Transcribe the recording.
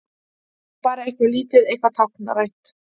Bara eitthvað lítið, eitthvað táknrænt.